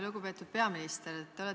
Lugupeetud peaminister!